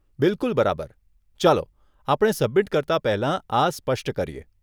બિલકુલ બરાબર, ચાલો આપણે સબમિટ કરતા પહેલા આ સ્પષ્ટ કરીએ.